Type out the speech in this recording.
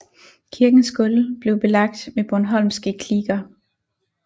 Kirkens gulv blev belagt med bornholmske kliker